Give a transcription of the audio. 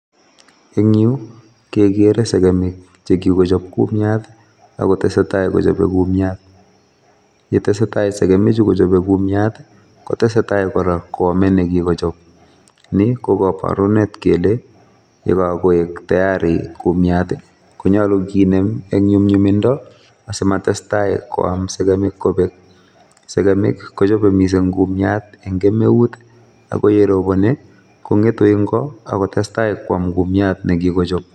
Eng' yu kekere sekemik chekikochop kumiat ak kotesetai kochope kumiat. yetesetai sekemichu kochope kuiat, kotesetai kora koamei nekikochop. Ni ko kaborunet kele yekakoek tayari kumiat, konyalu kinem eng nyumnyumindo asimatestai koam sekemik kobek. Sekemik kochope kumiat mising kumiat eng kemeut, ako ye robone kong'etu eng' ko ak kotestai koam kumiat nekikochop.